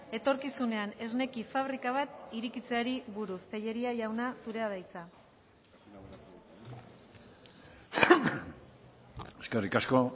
etorkizunean esneki fabrika bat irekitzeari buruz tellería jauna zurea da hitza eskerrik asko